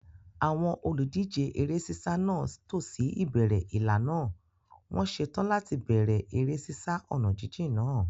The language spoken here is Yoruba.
Àwọn olùdíje eré sísá náà tò sí ìbẹ̀rẹ̀ ìlà náà, wọ́n ṣetán láti bẹ̀rẹ̀ eré sísá ọ̀nà jíjìn náà.